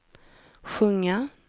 sjunga